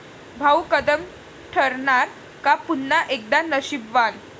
भाऊ कदम ठरणार का पुन्हा एकदा 'नशीबवान'?